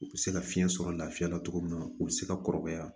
U bɛ se ka fiɲɛ sɔrɔ lafiya la cogo min na u bɛ se ka kɔrɔbaya